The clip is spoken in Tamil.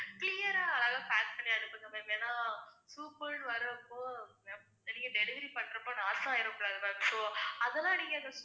clear ஆ அதெல்லாம் pack பண்ணி அனுப்புங்க ma'am ஏன்னா soup ன்னு வரப்போ நீங்க delivery பண்றப்போ loss ஆயிர கூடாது ma'am so அதெல்லாம் நீங்க